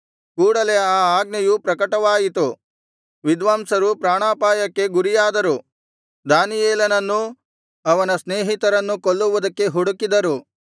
ಕೂಡಲೆ ಆ ಆಜ್ಞೆಯು ಪ್ರಕಟವಾಯಿತು ವಿದ್ವಾಂಸರು ಪ್ರಾಣಾಪಾಯಕ್ಕೆ ಗುರಿಯಾದರು ದಾನಿಯೇಲನನ್ನೂ ಅವನ ಸ್ನೇಹಿತರನ್ನೂ ಕೊಲ್ಲುವುದಕ್ಕೆ ಹುಡುಕಿದರು